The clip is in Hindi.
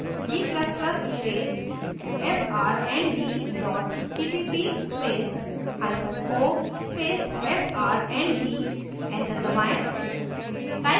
g ++ space frnd dot cpp space hyphen o space frnd enter दबाएं